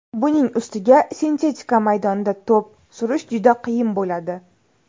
Buning ustiga sintetika maydonda to‘p surish juda qiyin bo‘ladi.